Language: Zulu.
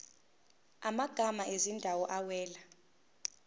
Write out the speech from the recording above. amagama ezindawo awela